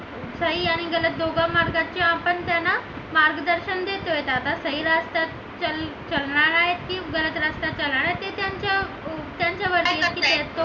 सही आणि गरज आपण दोघं मार्गाचे आपण त्यांना मार्गदर्शन देतोय आता सही रस्त्यावर चालणार आहेत की गलत रस्त्यावर चालणार आहेत ते त्यांच्यावर